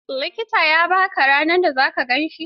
Likitan ya ba ka ranar da za ka gan shi?